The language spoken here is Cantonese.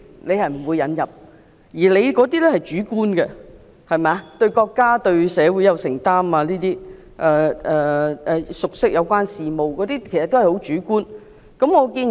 他提到的條件，例如對國家及社會有承擔、熟悉有關事務等都是主觀的條件。